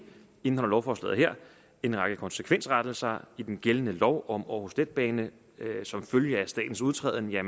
indeholder lovforslaget her en række konsekvensrettelser i den gældende lov om aarhus letbane som følge af statens udtræden af